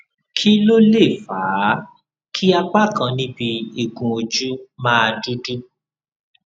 kí ló lè fà á kí apá kan níbi igun ojú máa dúdú